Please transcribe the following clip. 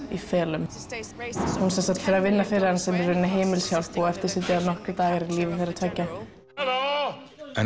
í felum hún fer að vinna fyrir hann sem heimilishjálp og eftir sitja nokkrir dagar í lífi þeirra tveggja an